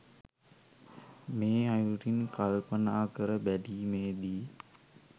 මේ අයුරින් කල්පනා කර බැලීමේදී